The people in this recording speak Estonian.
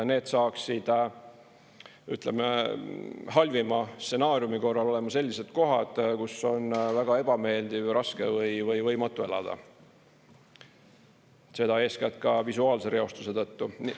Need saaksid halvima stsenaariumi korral olema sellised kohad, kus on väga ebameeldiv ja raske või võimatu elada, seda eeskätt ka visuaalse reostuse tõttu.